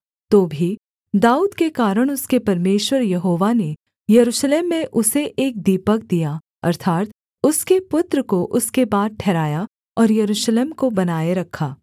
तो भी दाऊद के कारण उसके परमेश्वर यहोवा ने यरूशलेम में उसे एक दीपक दिया अर्थात् उसके पुत्र को उसके बाद ठहराया और यरूशलेम को बनाए रखा